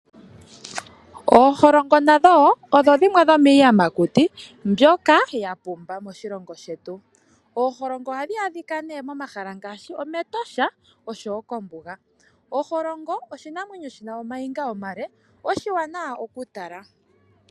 Ooholongo nadho wo odho dhimwe dhomiiyamakuti mbyoka ya pumba moshilongo shetu. Ooholongo ohadhi adhika ne momahala ngaashi Etosha oshowo kombuga. Oholongo oshinamwenyo shi na ooniga oonde, oshiwanawa okutala.